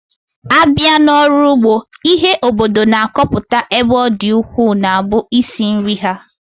Abịa n'ọrụ ụgbọ, ihe obodo na-akọpụta ebe ọ dị ukwuu na-abụ isi nri ha